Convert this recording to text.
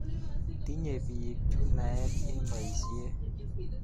Tinye piik chu naet eng' poisyet